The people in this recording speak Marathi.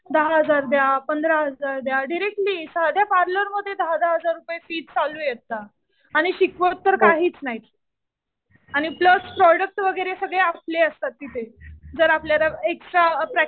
दहा हजार द्या. पंधरा हजार द्या डिरेक्टली. सध्या पार्लरमध्ये दहा-दहा हजार रुपये फीस चालू आहे आता. आणि शिकवत तर काहीच नाही. आणि प्लस प्रोडक्ट वगैरे सगळे आपले असतात तिथे. जर आपल्याला एक्स्ट्रा